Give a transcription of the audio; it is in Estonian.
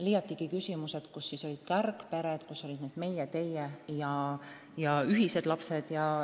Lisaks on meil hulga küsimusi tekitanud kärgpered, kus on minu, sinu ja meie ühised lapsed.